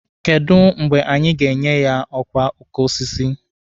Kedụ mgbe anyị ga-enye ya ọkwa oke osisi?